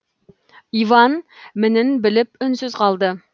иван мінін біліп үнсіз қалды